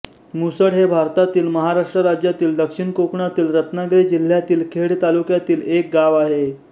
मुसड हे भारतातील महाराष्ट्र राज्यातील दक्षिण कोकणातील रत्नागिरी जिल्ह्यातील खेड तालुक्यातील एक गाव आहे